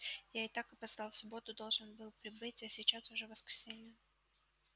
я и так опоздал в субботу должен был прибыть а сейчас уже воскресенье